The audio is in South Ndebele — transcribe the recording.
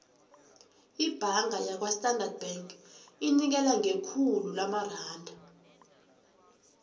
ibhanga yakwastandard bank inikela ngekhulu lamaranda